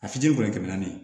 A fitini dɔrɔn tɛmɛna